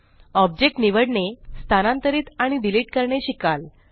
object निवडणेस्थानांतरीत आणि delete करणे शिकाल